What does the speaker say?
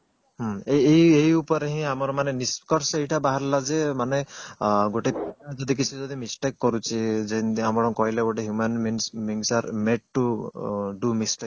ହୁଁ ଏଇ ଏଇ ଉପରେ ରେ ହିଁ ଆମର ନିଷ୍କର୍ଷ ଏଇଟା ବାହାରିଲା ଯେ ମାନେ ଗୋଟେ ପିଲା ଯଦି କିଛି ଯଦି mistake କରୁଛି ଯେମିତି ଆପଣ କହିଲେ ଗୋଟେ human means means are do mistakes